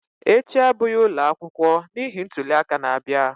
Echi abụghị ụlọ akwụkwọ n'ihi ntuli aka na-abịa